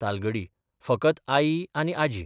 तालगडी फकत आई आनी आजी.